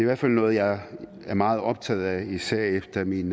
hvert fald noget jeg er meget optaget af især efter min